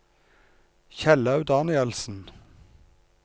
Kjellaug Danielsen